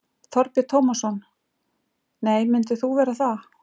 Þorbjörn Tómasson: Nei, myndir þú vera það?